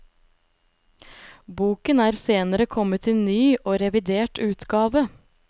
Boken er senere kommet i ny og revidert utgave.